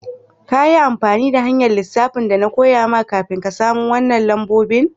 Ka yi amfani da hanya'n lissafin da na koya ma kafin ka samo wanan lambobin?